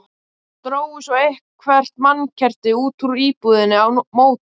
Drógu svo eitthvert mannkerti út úr íbúðinni á móti.